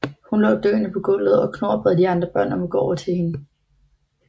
Hun lå døende på gulvet og Knorr bad de andre børn om at gå over hende